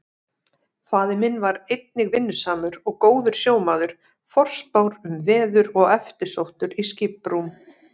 Faðir minn var einnig vinnusamur og góður sjómaður, forspár um veður og eftirsóttur í skiprúm.